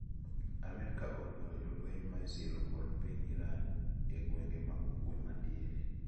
Amerika oluoro jolweny maisiro kod piny Iran e gwenge ma ugwe madiere.